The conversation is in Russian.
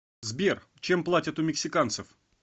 сбер чем платят у мексиканцев